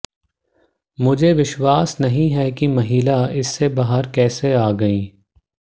मुझे विश्वास नहीं है कि महिला इससे बाहर कैसे आ गई